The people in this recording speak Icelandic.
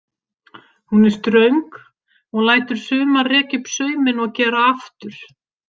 Hún er ströng og lætur sumar rekja upp sauminn og gera aftur.